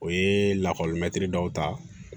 O ye lakɔli mɛtiri daw ta